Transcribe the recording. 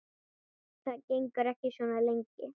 Það gengur ekki svona lengi.